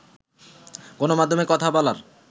গণমাধ্যমে কথা বলার